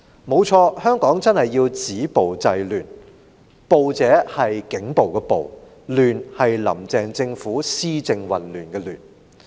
沒錯，香港真的需要止暴制亂，但"暴"是警暴的暴，"亂"則是"林鄭"政府施政混亂的亂。